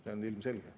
See on ilmselge.